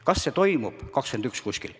Kas see toimub 2021?